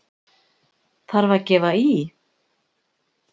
Þarf að gefa í!